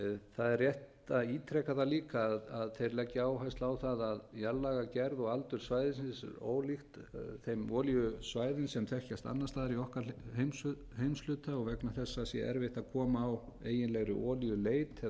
það er rétt að ítreka það líka að þeir leggja áherslu á það að jarðlagagerð og aldur svæðisins er ólíkt þeim olíusvæðum sem þekkjast annars staðar í okkar heimshluta og vegna þessa sé erfitt að koma á eiginlegri olíuleit eða